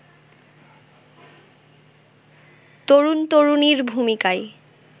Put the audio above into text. তরুণ-তরুণীর ভূমিকায়